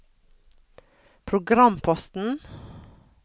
programposten